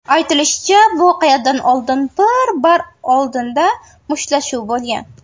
Aytilishicha, voqeadan oldin bir bar oldida mushtlashuv bo‘lgan.